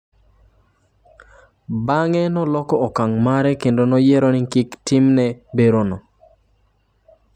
""" Bang'e noloko okang' mare kendo noyiero ni kik otimne opareson."